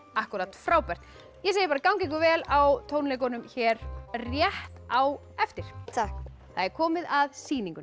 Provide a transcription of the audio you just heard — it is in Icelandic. frábært ég segi bara gangi ykkur vel á tónleikunum hér rétt á eftir takk það er komið að sýningunni